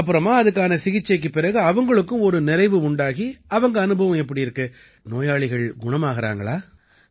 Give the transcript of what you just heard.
அப்புறமா அதுக்கான சிகிச்சைக்குப் பிறகு அவங்களுக்கும் ஒரு நிறைவு உண்டாகி அவங்க அனுபவம் எப்படி இருக்கு நோயாளிகள் குணமாகறாங்களா